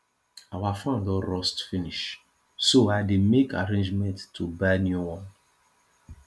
our fan don rust finish so i dey make arrangements to buy new one